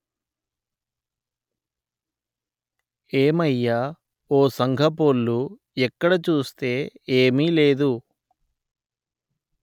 ఏమయ్య ఓ సంఘపోల్లు ఎక్కడ చూస్తే ఏమీ లేదు